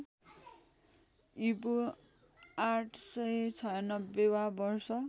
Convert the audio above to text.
ईपू ८९६ वा वर्ष